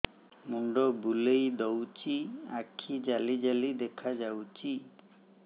ମୁଣ୍ଡ ବୁଲେଇ ଦଉଚି ଆଖି ଜାଲି ଜାଲି ଦେଖା ଯାଉଚି